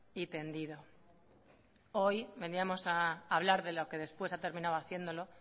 y tendido hoy veníamos a hablar de lo que después ha terminado haciéndolo